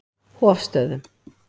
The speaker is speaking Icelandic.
Hofstöðum